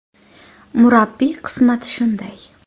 Murabbiy qismati shunday.